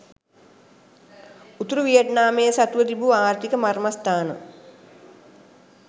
උතුරු වියට්නාමය සතුව තිබූ ආර්ථික මර්මස්ථාන